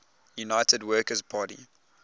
united workers party